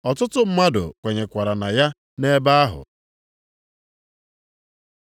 Ọtụtụ mmadụ kwenyekwara na ya nʼebe ahụ.